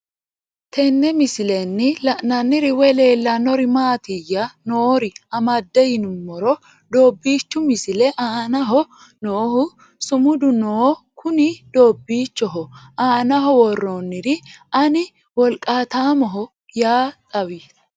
Tenne misilenni la'nanniri woy leellannori maattiya noori amadde yinummoro doobbichu misile aannaho noohu sumudu noo kunni doobbichchoho aannaho woranniri Ani woliqaattammoho yaa xawy